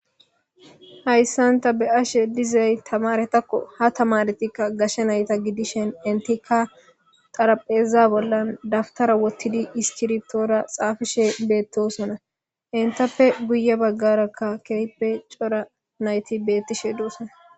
Hayssan taa be'ashshe dizay tamaretakko ha tamaretikka gashshe nayta gidishen intika xaraphpheza bollan daftara wottidi iskirtora xaafishe beettosona intappe guye baggarakka keehippe cora nayti beettishshe doossona